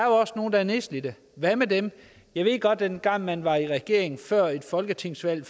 er nedslidte hvad med dem jeg ved godt at man dengang man var i regering før et folketingsvalg